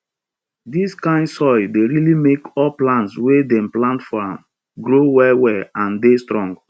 dis kain soil dey really make all plants wey dem plant for am grow well well and dey strong